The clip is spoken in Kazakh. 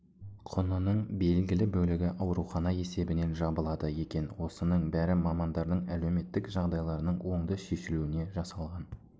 құнының белгілі бөлігі аурухана есебінен жабылады екен осының бәрі мамандардың әлеуметтік жағдайларының оңды шешілуіне жасалған